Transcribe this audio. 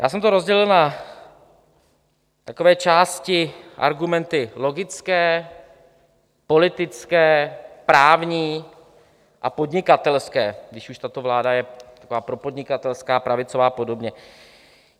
Já jsem to rozdělil na takové části, argumenty logické, politické, právní a podnikatelské, když už tato vláda je taková propodnikatelská, pravicová a podobně.